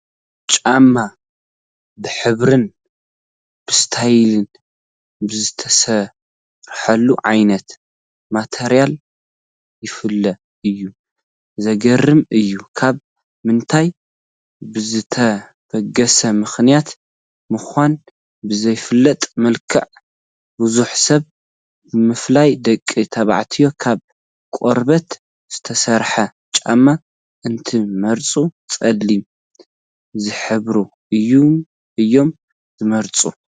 ጫማ ብሕብርን ብስታይል ብዝተሰርሐሉ ዓይነት ማተርያልን ይፍለ እዩ፡፡ ዘግርም እዩ፡፡ ካብ ምንታይ ብዝተበገሰ ምኽንያት ምዃኑ ብዘይፍለጥ መልክዑ ብዙሕ ሰብ ብፍላይ ደቂ ተባዕትዮ ካብ ቆርበት ዝተሰርሐ ጫማ እንትመርፁ ፀሊም ዝሕብሩ እዮም ዝመርፁ፡፡